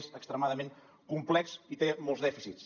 és extremadament complex i té molts dèficits